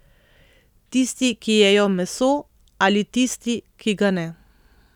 Tisti, ki jejo meso, ali tisti, ki ga ne.